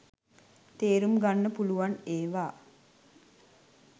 තේරුම්ගන්න පුළුවන් ඒවා.